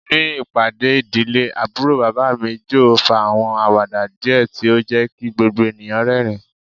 Ni ipade idile, Aburo baba mi Joe fa awọn awada diẹ ti o jẹ ki gbogbo eniyan rẹrin